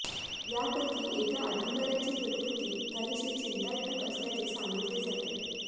यापैकी एका अधिकाऱ्याची प्रकृती काहीशी चिंताजनक असल्याचे सांगितले जाते